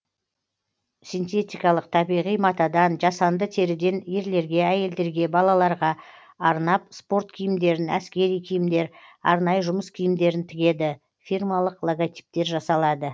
синтетикалық табиғи матадан жасанды теріден ерлерге әйелдерге балаларға арнап спорт киімдерін әскери киімдер арнайы жұмыс киімдерін тігеді фирмалық логотиптер жасалады